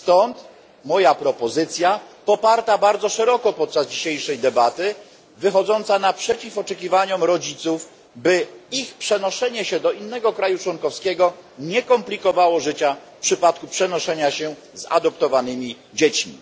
Stąd moja propozycja, poparta bardzo szeroko podczas dzisiejszej debaty i wychodząca naprzeciw oczekiwaniom rodziców, by ich przenoszenie się do innego państwa członkowskiego nie komplikowało życia, w przypadku gdy towarzyszą im adoptowane dzieci.